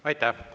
Aitäh!